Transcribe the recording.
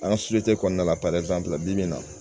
An ka kɔnɔna la bi bibi in na